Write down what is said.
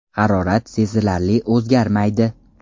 Harorat sezilarli o‘zgarmaydi.